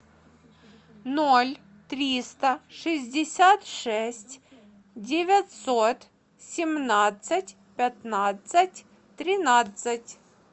ноль триста шестьдесят шесть девятьсот семнадцать пятнадцать тринадцать